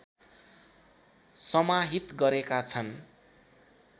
समाहित गरेका छन्